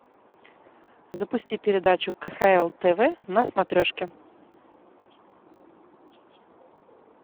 запусти передачу кхл тв на смотрешке